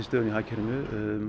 í hagkerfinu